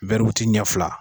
ɲɛ fila